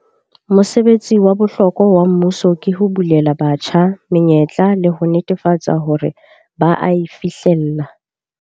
Mosebetsi wa bohlokwa wa mmuso ke ho bulela batjha menyetla le ho netefatsa hore ba a e fihlella.